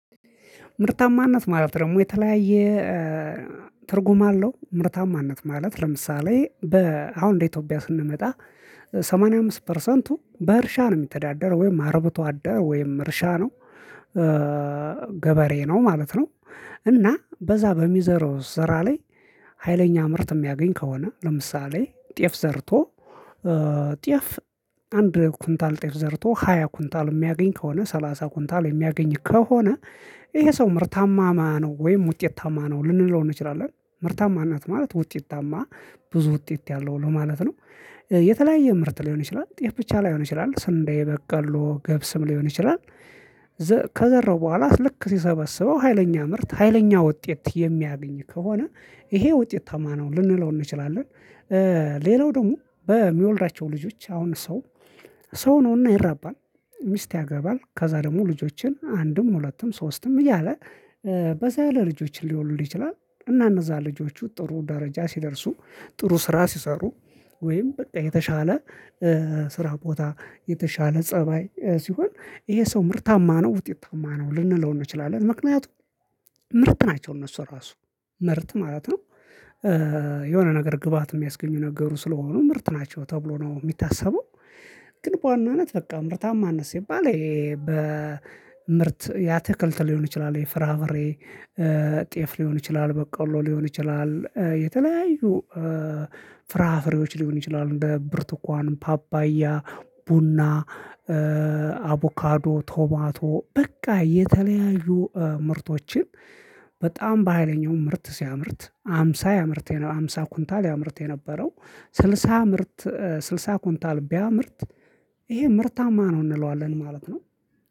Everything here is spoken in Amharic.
ምርታማነት ማለት ደግሞ የተለያየ ትርጉም አለው። ምርታማነት ማለት ለምሳሌ በ አሁን እንደ ኢትዮጵያ ስንመጣ ሰማኒያ አምስት ፐርሰንቱ በእርሻ ነው የሚተዳደረው ወይም አረብቶ አደረ ወይም እርሻ ነው ገበሬ ነው ማለት ነው። እና በዛ በሚዘራው ስራ ላይ ሀይለኛ ምርት የሚያገኝ ከሆነ ለምሳሌ ጤፍ ዘርቶ ጤፍ አንድ ኩንታል ጤፍ ዘርቶ ሃያ ኩንታል የሚያገኝ ከሆነ ሰላሳ ኩንታል የሚያገኝ ከሆነ ይሄ ሰው ምርታማ አማ ነው ወይም ውጤታማ ነው ልንለው እንችላለን። ምርታማነት ማለት ውጤት አማ ብዙ ውጤት ያለው ማለት ነው። የተለያየ ምርት ሊሆን ይችላል ጤፍ ብቻ ላይሆን ይችላል ስንዴ በቀሎ ገብስም ሊሆን ይችላል። ከዘራው በኋላ ልክ ሲሰበስበው ሀይለኛ ምርት ሀይለኛ ውጤት የሚያገኝ ከሆነ ይሄ ውጤትታማ ልንለው እንችላለን። ሌላው ደግሞ በሚወልዳቸው ልጆች አሁን ሰው ሰው ነውና ይራባል ሚስት ያገባል ከዛ ደግሞ ልጆችን አንድም ሁለትም ሶስትም እያለ በዛ ያለ ልጆችን ሊወልድ ይችላል። እና እነዛ ልጆቹ ጥሩ ደረጃ ሲደርሱ ጥሩ ስራ ሲሰሩ ወይም በቃ የተሻለ ስራ ቦታ የተሻለ ፀባይ ሲሆን ይሄ ሰው ምርታማ ነው ውጤትታማ ነው ልንለው እንችላለን። ምክንያቱም ምርት ናቸው እነሱ ራሱ ምርት ማለት ነው የሆነ ነገር ግባአት የሚያስገኙ ነገሩ ስለሆኑ ምርት ናቸው ተብሎ ነው የሚታሰበው። ግን በዋናነት በቃ ምርታማነት ሲባል ይሄ በምርት የአትክልት ሊሆን ይችላል የፍርፍሬ ጤፍ ሊሆን ይችላል በቀሎ ሊሆን ይችላል የተለያዩ ፍራፍሬዎች ሊሆን ይችላሉ። እንደ ብርቱኳን ፓፓያ ቡና አቡካዶ ቶማቶ በቃ የተለያዩ ምርቶችን በጣም በሃይለኛው ምርት ሲያምርት ሃምሳ ያምርት የነ ሃምሳ ኩንታል ያምርት የነበረው። ስልሳ ምርት ስልሳ ኩንታል ቢያምርት ይሄ ምርታማ ነው እንለዋለን ማለት ነው